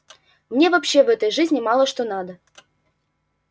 мне вообще в этой жизни мало что надо